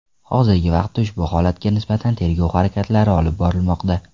Hozirgi vaqtda ushbu holatga nisbatan tergov harakatlari olib borilmoqda.